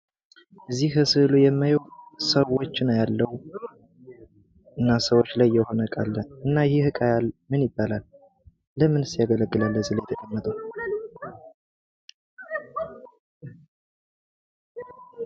እዚህ ስእሉ ላይ የማየው ሰዎችን አያለው እና ሰዎች ላይ የሆነ ዕቃ አለ ይህ ዕቃ ምን ይባላል ለምንስ ያገለግላል እዚህ ላይ የተቀመጠው ለምንድነው?